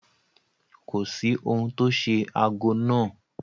Kò sí ohun tó ṣe ago náà.